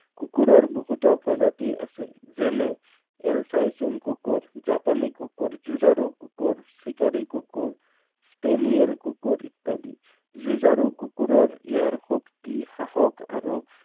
কুকুৰৰ বহুতো প্ৰজাতি আছে। যেনে Alsatian কুকুৰ, জাপানী কুকুৰ, যুঁজাৰু কুকুৰ, চিকাৰী কুকুৰ, Spanial কুকুৰ ইত্যাদি। যুঁজাৰু কুকুৰৰ ইয়াৰ শক্তি, সাহস আৰু